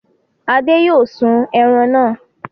Ade yóò sun ẹran náà!